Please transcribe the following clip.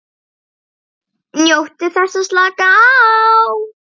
NJÓTTU ÞESS AÐ SLAKA Á